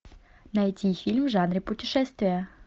найти фильм в жанре путешествия